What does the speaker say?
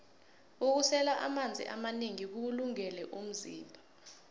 ukusela amanzi amanengi kuwulungele umzimba